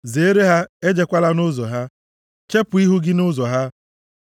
Zeere ha, ejekwala nʼụzọ ha; chepu ihu gị nʼụzọ ahụ,